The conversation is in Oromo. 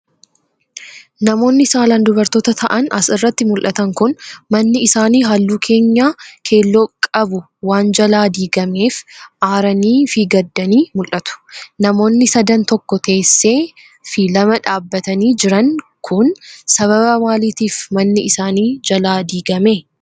Namoonni saalaan dubartoota ta'an as irratti mul'atan kun, manni isaanii haalluu keenyaa keelloo qbu waan jalaa diigameef aaranii fi gaddanii mul'atu. Namooni sadan tokko teessee fi lama dhaabbatanii jiran kun, sababa maaliitif manni isaanii jalaa diigame?